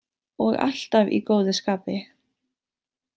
Og alltaf í góðu skapi.